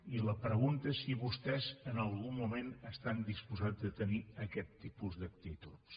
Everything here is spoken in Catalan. i la pregunta és si vostès en algun moment estan disposats a tenir aquests tipus d’actituds